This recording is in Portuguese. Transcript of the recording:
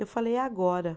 Eu falei, agora.